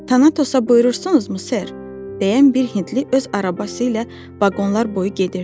Tanatosa buyurursunuzmu ser, deyən bir hindli öz arabası ilə vaqonlar boyu gedirdi.